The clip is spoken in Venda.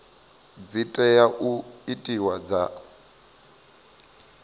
dzi tea u itiwa dza